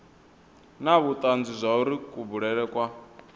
na vhutanzi zwauri kubulele kwa